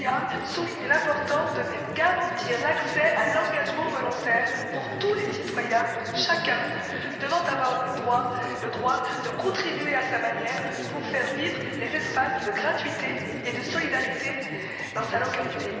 Scurria souligne l'importance de garantir l'accès à l'engagement volontaire pour tous les citoyens, chacun devant avoir le droit de contribuer à sa manière pour faire vivre les espaces de gratuité et de solidarité dans sa localité.